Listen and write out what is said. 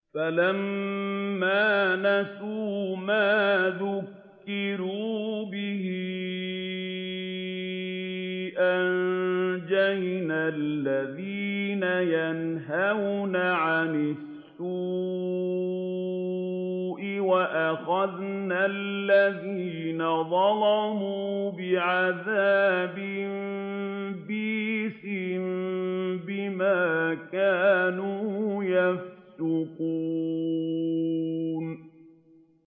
فَلَمَّا نَسُوا مَا ذُكِّرُوا بِهِ أَنجَيْنَا الَّذِينَ يَنْهَوْنَ عَنِ السُّوءِ وَأَخَذْنَا الَّذِينَ ظَلَمُوا بِعَذَابٍ بَئِيسٍ بِمَا كَانُوا يَفْسُقُونَ